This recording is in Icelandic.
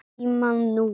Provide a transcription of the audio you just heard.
Sefur hjá honum.